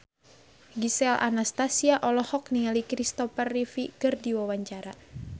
Gisel Anastasia olohok ningali Kristopher Reeve keur diwawancara